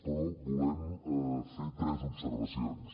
però volem fer tres observacions